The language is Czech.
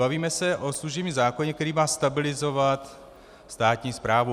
Bavíme se o služebním zákoně, který má stabilizovat státní správu.